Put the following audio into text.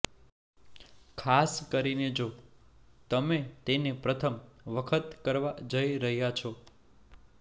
ખાસ કરીને જો તમે તેને પ્રથમ વખત કરવા જઈ રહ્યાં છો